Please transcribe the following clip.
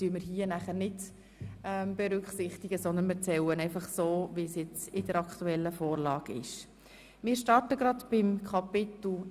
Dies berücksichtigen wir nicht, sondern wir zählen sie so, wie es der aktuellen Vorlage entspricht.